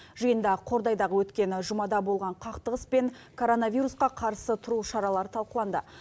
жиында қордайдағы өткен жұмада болған қақтығыс пен коронавирусқа қарсы тұру шаралары талқыланды